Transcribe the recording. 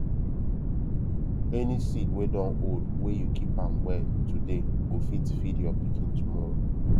any seed wey don old wey you keep am well today go fit feed your pikin tomorrow